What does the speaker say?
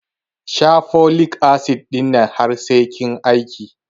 Sha folik asid ɗin nan har sai kin aiki